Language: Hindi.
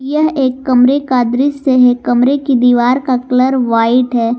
यह एक कमरे का दृश्य है कमरे की दीवार का कलर व्हाइट है।